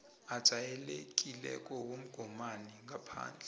ajayelekileko womgomani ngaphandle